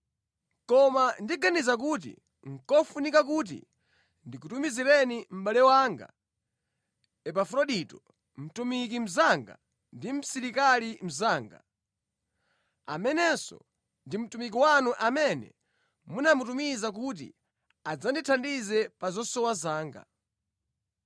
Koma ndikuganiza kuti nʼkofunika kuti ndikutumizireni mʼbale wanga Epafrodito, mtumiki mnzanga ndi msilikali mnzanga, amenenso ndi mtumiki wanu amene munamutumiza kuti adzandithandize pa zosowa zanga.